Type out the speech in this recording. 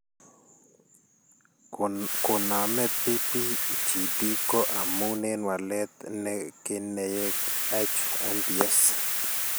Komaame PBGD ko amun en walet en keneyeek HMBS.